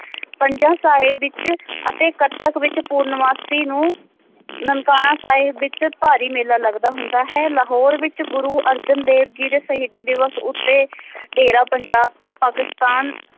ਪੰਜਾਹ ਸਾਹਿਤ ਵਿਚ ਅਤੇ ਕਥਕ ਵਿਚ ਪੁਰਨਮਾਸੀ ਨੂੰ ਨਨਕਾਣਾ ਸਾਹਿਬ ਵਿਚ ਭਾਰੀ ਮੇਲਾ ਲੱਗਦਾ ਹੁੰਦਾ ਹੈ ਲਾਹੌਰ ਵਿਚ ਗੁਰੂ ਅਰਜਨ ਦੇਵ ਜੀ ਦੇ ਸ਼ਹੀਦੀ ਦਿਵਸ ਉੱਤੇ ਡੇਰਾ ਪੰਜਾਬ ਤੋਂ ਪਾਕਿਸਤਾਨ